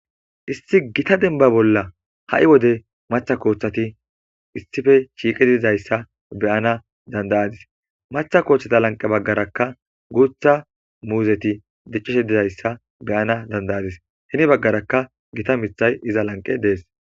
isti gita denba bolla ha7i wode matha kooththati issife shiiqi dizayssa beyana dandayadis matha kooththata lanqe baggarakka guutha muuzeti diccishe dizayssa beyana dandayadis hini baggaraka gita mithay iza lanqe dees